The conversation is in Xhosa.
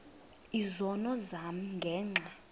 izono zam ngenxa